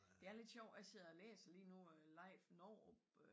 Det er lidt sjov jeg sidder og læser lige nu øh Leif Novrup